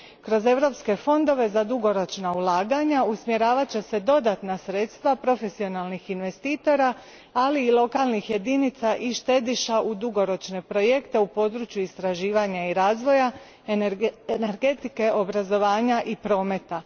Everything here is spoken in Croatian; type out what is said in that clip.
Kroz europske fondove za dugoročna ulaganja usmjeravat će se dodatna sredstva profesionalnih investitora, ali i lokalnih jedinica i štediša u dugoročne projekte u području istraživanja i razvoja, energetike, obrazovanja i prometa.